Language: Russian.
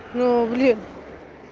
ну блин